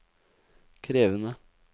krevende